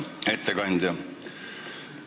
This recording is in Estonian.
Hea ettekandja!